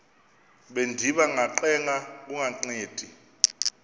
bendiba ngacenga kungancedi